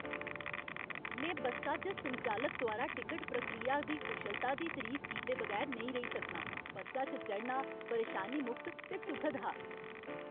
में बस्सा च संचालक द्वारा टिकट प्रक्रिया दी कुशलता दी तरीफ कीते बगैर नेईं रेही सकनां। बस्सा च चढ़ना परेशानी मुक्त ते सुखद हा।